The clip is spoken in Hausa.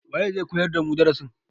waye zai koyar damu darasin?